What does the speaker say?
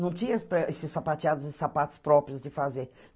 Não tinha pre esses sapateados e sapatos próprios de fazer.